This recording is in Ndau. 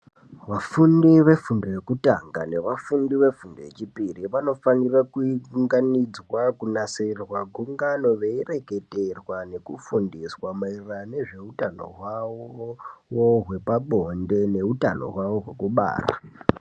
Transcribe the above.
Vafundi vefundo yekutanga nevafundi vefundo yechipiri vanofanira kuunganidzwa, kunase kunasirirwa gungano ,veireketerwa nekufundiswa ,maererano nezveutano hwavo, hwepabonde, neutano hwavo hwekubara.